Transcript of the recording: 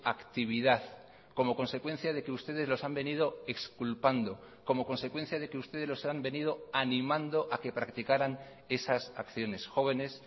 actividad como consecuencia de que ustedes los han venido exculpando como consecuencia de que ustedes los han venido animando a que practicaran esas acciones jóvenes